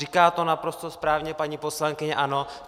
Říká to naprosto správně paní poslankyně ANO.